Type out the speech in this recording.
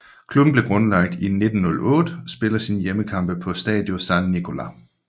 Klubben blev grundlagt i 1908 og spiller sine hjemmekampe på Stadio San Nicola